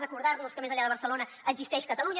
recordar nos que més enllà de barcelona existeix catalunya